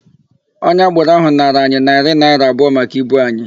Onye agboro ahụ nara anyị narị naịra abụọ maka ibu anyị.